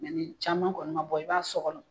Nka ni caman kɔni ma bɔ i b'a sɔkɔ